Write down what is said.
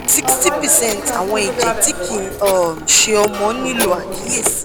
60 percent àwọn ẹ̀jẹ̀ tí kì í um ṣe ọmọ nílò àkíyèsí